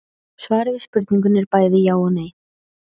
Svarið við spurningunni er bæði já og nei.